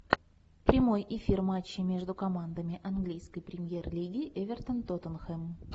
прямой эфир матча между командами английской премьер лиги эвертон тоттенхэм